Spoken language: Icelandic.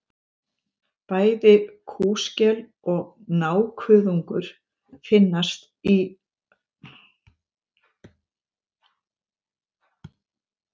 Bæði kúskel og nákuðungur finnast á íslensku hafsvæði.